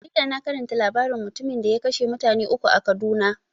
A jarida na karanta labaran mutumin da ya kashe mutane uku a kaduna.